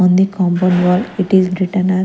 On the compound wall it is written as--